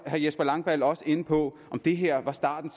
herre jesper langballe også inde på om det her var starten